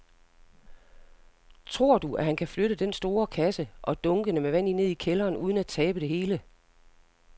Tror du, at han kan flytte den store kasse og dunkene med vand ned i kælderen uden at tabe det hele?